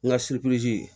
N ka